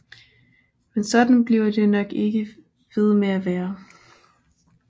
Men sådan bliver det nok ikke ved med at være